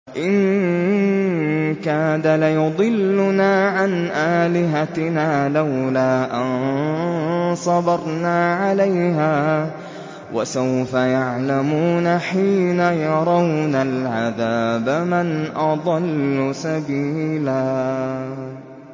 إِن كَادَ لَيُضِلُّنَا عَنْ آلِهَتِنَا لَوْلَا أَن صَبَرْنَا عَلَيْهَا ۚ وَسَوْفَ يَعْلَمُونَ حِينَ يَرَوْنَ الْعَذَابَ مَنْ أَضَلُّ سَبِيلًا